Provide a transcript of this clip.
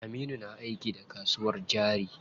Aminu na aiki da kasuwar jari.